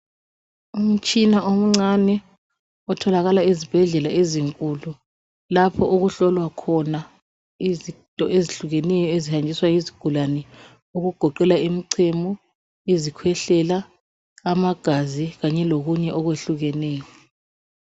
Umutshina omncane otholakala ezibhedlela ezinkulu lapho okuhlolwa khona izinto ezihlukeneyo ezihanjiswa yizigulane okugoqela imichemo izikhwehlela amagazi kanye lokunye okuhlukeneyo.